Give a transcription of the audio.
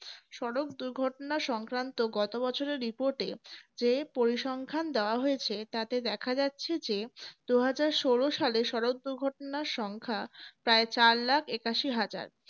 সড়ক দুর্ঘটনা সংক্রান্ত গত বছরের reprt এ যে পরিসংখ্যান দেওয়া হয়েছে তাতে দেখা যাচ্ছে যে দু হাজার ষোলো সালে সড়ক দুর্ঘটনার সংখ্যা প্রায় চার lakh একাশি হাজার